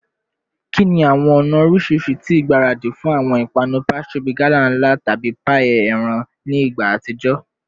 Kini awọn ọna oriṣiriṣi ti igbaradi fun awọn ipanu pastry bi gala nla tabi paii eran ni igba atijọ?